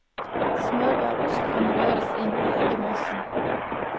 Smørbar ost kan røres inn i eggemassen.